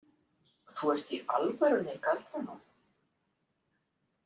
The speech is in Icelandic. Þú ert í alvörunni galdranorn